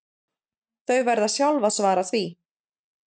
Þau verða sjálf að svara því